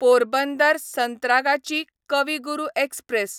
Porbandar Santragachi Kavi Guru express